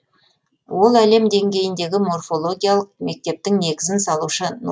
ол әлем деңгейіндегі морфологиялық мектептің негізін салушы